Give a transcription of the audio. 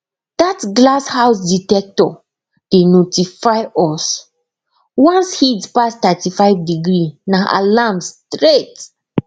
that glass house dectector dey notify us once heat pass 35 degree na alarm straight